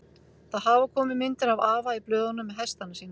Það hafa komið myndir af afa í blöðunum með hestana sína.